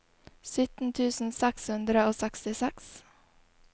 sytten tusen seks hundre og sekstiseks